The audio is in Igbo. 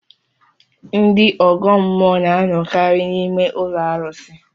Ndị ọgọ mmụọ na anọkarị n'ime ụlọ arụsi